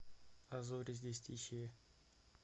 а зори здесь тихие